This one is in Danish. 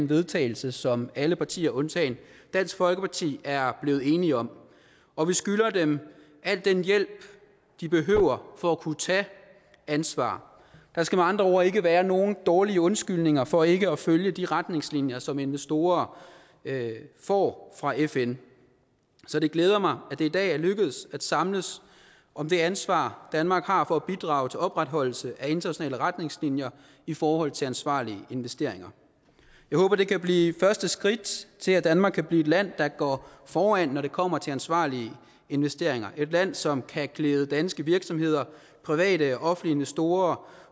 vedtagelse som alle partier undtagen dansk folkeparti er blevet enige om og vi skylder dem al den hjælp de behøver for at kunne tage ansvar der skal med andre ord ikke være nogen dårlige undskyldninger for ikke at følge de retningslinjer som investorer får fra fn så det glæder mig at det i dag er lykkedes at samles om det ansvar danmark har for at bidrage til opretholdelse af internationale retningslinjer i forhold til ansvarlige investeringer jeg håber det kan blive første skridt til at danmark kan blive et land der går foran når det kommer til ansvarlige investeringer et land som kan klæde danske virksomheder private og investorer